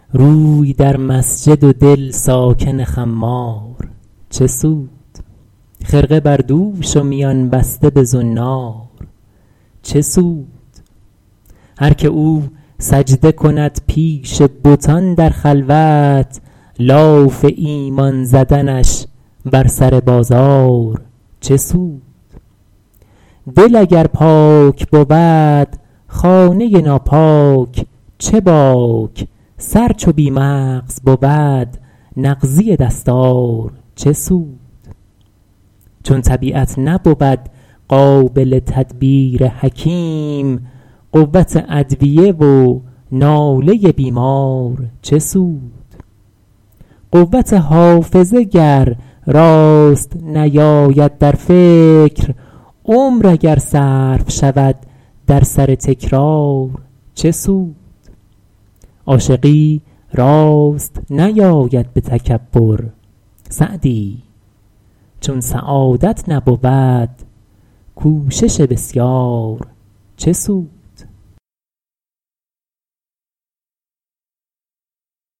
روی در مسجد و دل ساکن خمار چه سود خرقه بر دوش و میان بسته به زنار چه سود هر که او سجده کند پیش بتان در خلوت لاف ایمان زدنش بر سر بازار چه سود دل اگر پاک بود خانه ناپاک چه باک سر چو بی مغز بود نغزی دستار چه سود چون طبیعت نبود قابل تدبیر حکیم قوت ادویه و ناله بیمار چه سود قوت حافظه گر راست نیاید در فکر عمر اگر صرف شود در سر تکرار چه سود عاشقی راست نیاید به تکبر سعدی چون سعادت نبود کوشش بسیار چه سود